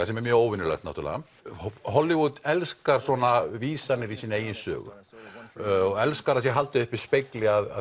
sem er mjög óvenjulegt náttúrulega er Hollywood elskar svona vísanir í eigin sögu elskar að það sé haldið uppi spegli að